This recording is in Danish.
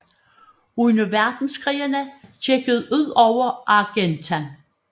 Under Verdenskrigene gik det ud over Argentan